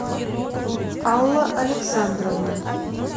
алла александровна